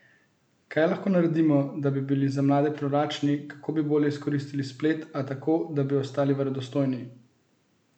Kaj lahko naredimo, da bi bili za mlade privlačni, kako bi bolje izkoristili splet, a tako, da bi ostali verodostojni?